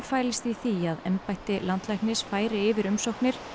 fælist í því að embætti landlæknis færi yfir umsóknir